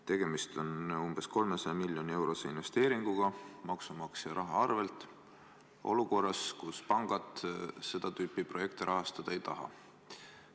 Tegemist on umbes 300 miljoni eurose investeeringuga maksumaksja raha arvel olukorras, kus pangad seda tüüpi projekte rahastada ei taha.